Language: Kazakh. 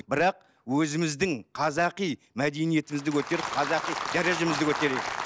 бірақ өзіміздің қазақи мәдениетімізді көтеріп қазақи дәрежемізді көтерейік